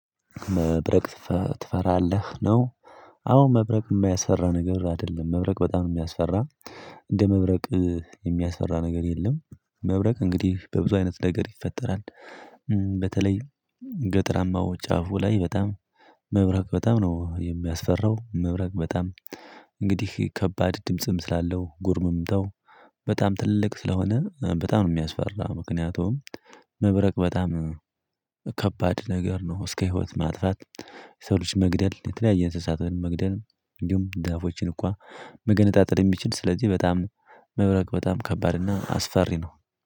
መብረቅ ትፈራለህ ነው አዎ መብረቅ የሚያስፈራ ነገር አይደለም መብረቅ በጣም የሚያስፈራ እንደ መብረቅ የሚያስፈራ ነገር የለም መብረቅ እንግዲህ በብዙ አይነት ነገር ይፈጠራል በተለይ ገጥራማው ጫፉ ላይ በጣም መብረቅ በጣም ነው የሚያስፈራው መብረቅ በጣም እንግዲህ ከባድ ድምጽም ስላለው ጉርምምተው በጣም ትልቅ ስለሆነ በጣም ነው የሚያስፈራው ምክንያቱም መብረቅ በጣም ከባድ ነገር ነው እስከ ህይወት ማጥፋት የሰው ልጅ መግደል የተለያየ እንስሳትን መግደል እንዲሁም ዛፎችን እንኳን መገነጣጠል የሚችል ስለዚህ በጣም መብረቅ በጣም ከባድ እና አስፈሪ ነው።